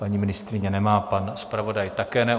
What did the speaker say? Paní ministryně nemá, pan zpravodaj také ne.